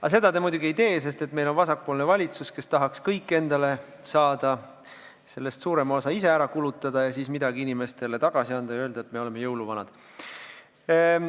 Aga seda te muidugi ei tee, sest meil on vasakpoolne valitsus, kes tahaks kõik endale saada, sellest suurema osa ise ära kulutada ja siis midagi inimestele tagasi anda ja öelda, et me oleme jõuluvanad.